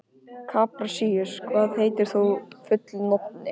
Kaprasíus, hvað heitir þú fullu nafni?